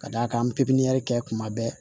Ka d'a kan an bɛ pipiniyɛri kɛ kuma bɛɛ